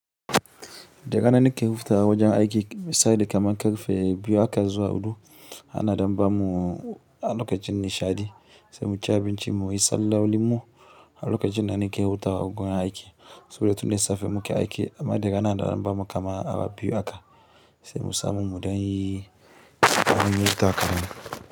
Da rana nake yawan fita aiki misali kamar ƙarfe biyu haka zuwa huɗu ana ɗan bamu lokacin nishaɗi sai muci abinci mu sallolinmu a lokacin da nake hutawa a wajen aiki saboda tun da safe muke aiki amma daga nan ana ɗan bamu kaman awa biyu aka sai mu samu mu ɗanyi aiyuka.